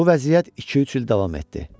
Bu vəziyyət iki-üç il davam etdi.